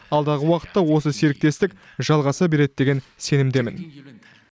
алдағы уақытта осы серіктестік жалғаса береді деген сенімдемін